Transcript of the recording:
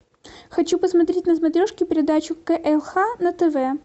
хочу посмотреть на смотрешке передачу клх на тв